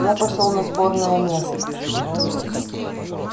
я пошёл на сборное место